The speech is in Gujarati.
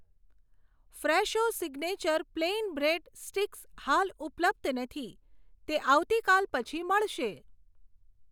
Fresho signature plain bread sticks હાલ ઉપલબ્ધ નથી, તે આવતીકાલ પછી મળશે.